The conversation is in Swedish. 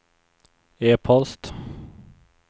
e-post